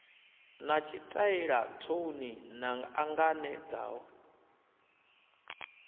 na tshitaela thouni na anganedzaho